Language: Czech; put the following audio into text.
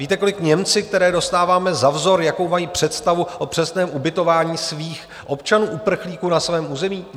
Víte, kolik Němci, které dostáváme za vzor, jakou mají představu o přesném ubytování svých občanů uprchlíků na svém území?